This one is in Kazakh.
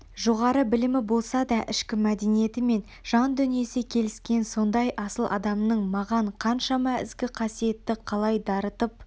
жоғары білімі болмаса да ішкі мәдениеті мен жан-дүниесі келіскен сондай асыл адамның маған қаншама ізгі қасиетті қалай дарытып